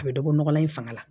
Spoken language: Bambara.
A bɛ dɔbɔ nɔgɔlan in fanga la